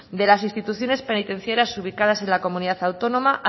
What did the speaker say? de las instituciones penitenciarias ubicadas en la comunidad autónoma